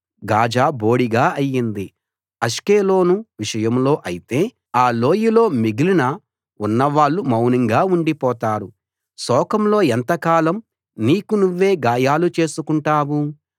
Gaza బోడిగా అయింది Ashkelon విషయంలో అయితే ఆ లోయలో మిగిలిన ఉన్న వాళ్ళు మౌనంగా ఉండిపోతారు శోకంలో ఎంతకాలం నీకు నువ్వే గాయాలు చేసుకుంటావు